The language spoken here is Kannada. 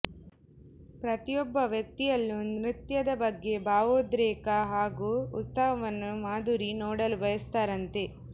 ಪ್ರತಿಯೊಬ್ಬ ವ್ಯಕ್ತಿಯಲ್ಲೂ ನೃತ್ಯದ ಬಗ್ಗೆ ಭಾವೋದ್ರೇಕ ಹಾಗೂ ಉತ್ಸಾಹವನ್ನು ಮಾಧುರಿ ನೋಡಲು ಬಯಸ್ತಾರಂತೆ